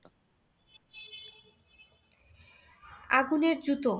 আগুনের জুতো